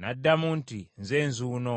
N’addamu nti, “Nze nzuuno.”